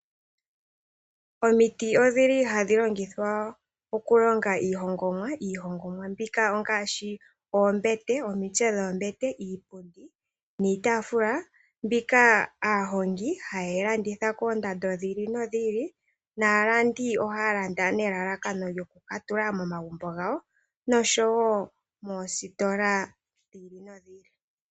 Omiti odhili hadhi longithwa okulonga iihongomwa. Iihongomwa mbika ongaashi oombete, omitse dhoombete, iipundi niitafula, mbika aahongi haye yi landitha koondando dhiili nodhiili. Naalandi ohaya landa nelalakano lyoku katula momagumbo gawo, noshowo moositola dhiili nodhiili.